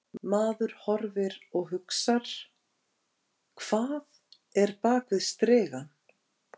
Maður horfir og hugsar: Hvað er bak við strigann?